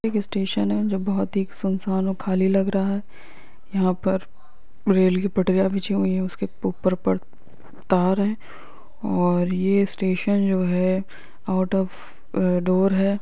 Station है जो बहुत ही खाली और सुससन लग रहा है यहा पर रेल की पटरिया बिछी हुई है उसके ऊपर पर तार है और यह स्टेशन जो है आउट ऑफ डूर है।